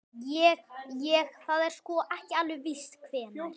Ég. ég. það er sko. ekki alveg víst hvenær.